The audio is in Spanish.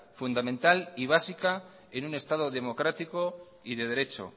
fundamental y básica en un estado democrático y de derecho